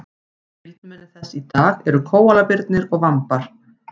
skyldmenni þess í dag eru kóalabirnir og vambar